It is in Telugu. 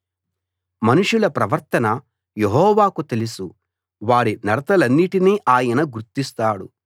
మనుషుల ప్రవర్తన యెహోవాకు తెలుసు వారి నడతలన్నిటినీ ఆయన గుర్తిస్తాడు